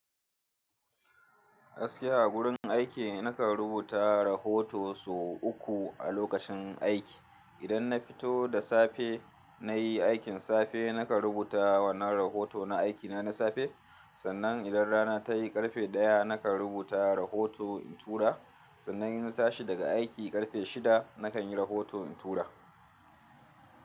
Gaskiya a gurin aiki, nakan rubuta rahoto sau uku a lokacin aiki. Idan na fito da safe, na yi aikin safe, nakan rubuta wannan rahoto na aikina na safe. Sannan idan rana tayi ƙarfe ɗaya, nakan rubuta rahoto in tura. Sannan in tashi daga aiki ƙarfe shida, nakan yi rahoto in tura.